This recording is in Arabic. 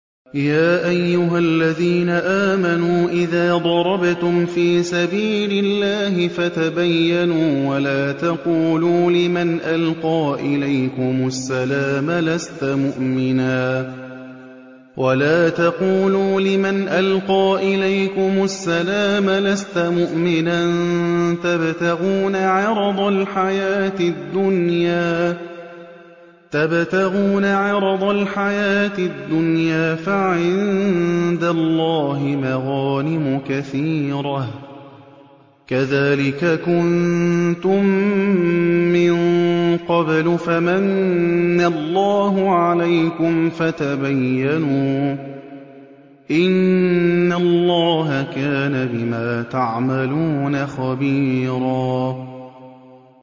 يَا أَيُّهَا الَّذِينَ آمَنُوا إِذَا ضَرَبْتُمْ فِي سَبِيلِ اللَّهِ فَتَبَيَّنُوا وَلَا تَقُولُوا لِمَنْ أَلْقَىٰ إِلَيْكُمُ السَّلَامَ لَسْتَ مُؤْمِنًا تَبْتَغُونَ عَرَضَ الْحَيَاةِ الدُّنْيَا فَعِندَ اللَّهِ مَغَانِمُ كَثِيرَةٌ ۚ كَذَٰلِكَ كُنتُم مِّن قَبْلُ فَمَنَّ اللَّهُ عَلَيْكُمْ فَتَبَيَّنُوا ۚ إِنَّ اللَّهَ كَانَ بِمَا تَعْمَلُونَ خَبِيرًا